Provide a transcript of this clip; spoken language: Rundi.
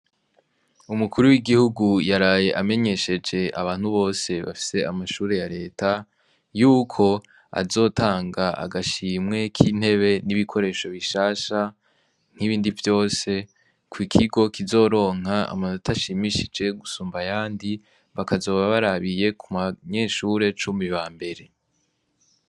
Umukuru w'Igihugu yaraye amenyesheje abantu bose bafise amashure ya Leta yuko azotanga agashimwe k'intebe n'ibikoresho bishasha n'ibindi vyose ku kigo kizoronka amanota ashimishije gusumba ayandi, bakazoba barabiye ku banyeshure cumi bambere.